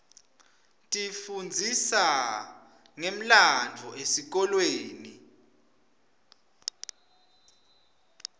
tifundzisa ngemlandvo esikolweni